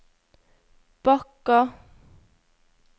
Bakka